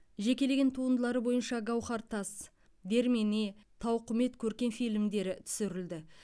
жекелеген туындылары бойынша гауһар тас дермене тауқымет көркем фильмдері түсірілді